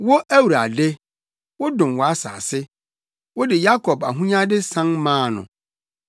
Wo Awurade, wodom wʼasase; wode Yakob ahonyade san maa no.